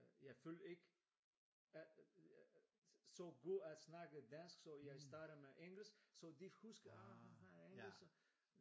Jeg følte ikke at så god at snakke dansk så jeg starter med engelsk så de husker ah han har engelsk så